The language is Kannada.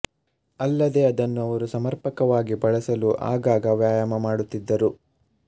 ಅಲ್ಲದೇ ಅದನ್ನು ಅವರು ಸಮರ್ಪಕವಾಗಿ ಬಳಸಲು ಆಗಾಗ ವ್ಯಾಯಾಮ ಮಾಡುತ್ತಿದ್ದರು